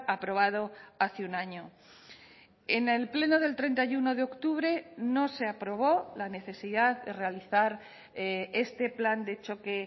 aprobado hace un año en el pleno del treinta y uno de octubre no se aprobó la necesidad de realizar este plan de choque